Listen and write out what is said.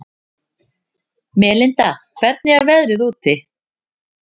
Melinda, hvernig er veðrið úti?